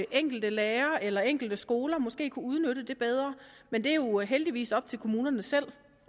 enkelte lærere eller enkelte skoler måske kunne udnytte det bedre men det er jo heldigvis op til kommunerne selv